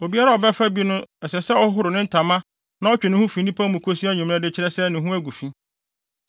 Obiara a ɔbɛfa bi no ɛsɛ sɛ ɔhoro ne ntama na ɔtwe ne ho fi nnipa mu kosi anwummere de kyerɛ sɛ ne ho agu fi.